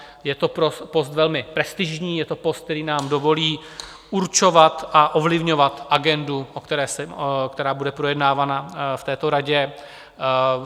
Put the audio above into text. Je to post velmi prestižní, je to post, který nám dovolí určovat a ovlivňovat agendu, která bude projednávána v této radě.